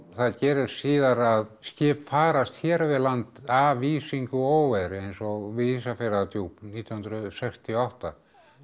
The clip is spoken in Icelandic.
það gerist síðar að skip farast hér við land af ísingu og óveðri eins og við Ísafjarðardjúp nítján hundruð sextíu og átta